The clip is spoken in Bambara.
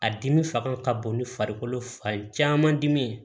A dimi fanga ka bon ni farikolo fan caman dimi ye